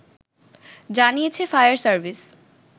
জানিয়েছে fire service